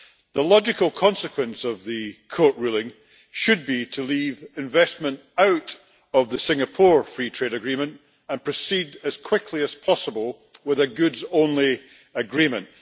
The logical consequence of the court ruling should be to leave investment out of the Singapore Free Trade Agreement and proceed as quickly as possible with a goods only agreement.